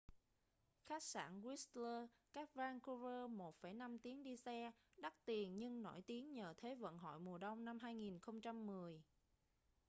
khách sạn whistler cách vancouver 1,5 tiếng đi xe đắt tiền nhưng nổi tiếng nhờ thế vận hội mùa đông năm 2010